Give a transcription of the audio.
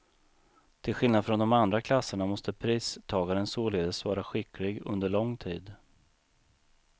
Till skillnad från de andra klasserna måste pristagaren således vara skicklig under lång tid.